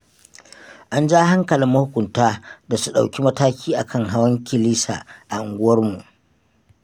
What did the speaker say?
An ja hankalin mahukunta da su ɗauki mataki akan hawan kilisa a unguwarmu.